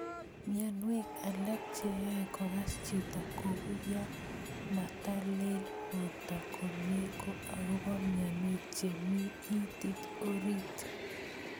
Mionwek alak che ae kokas chito ko u yo matelel porto komie ko akopo mionwek che mii itit orit.